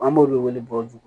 An b'olu wele bɔgɔ